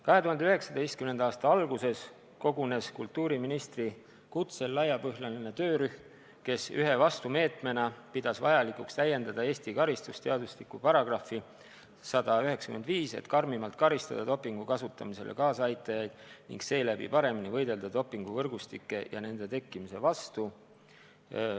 2019. aasta alguses kogunes kultuuriministri kutsel laiapõhjaline töörühm, kes ühe vastumeetmena pidas vajalikuks täiendada Eesti karistusseadustiku § 195, et karmimalt karistada dopingu kasutamisele kaasaaitajaid ning seeläbi paremini võidelda dopinguvõrgustike ja nende tekkimise vastu.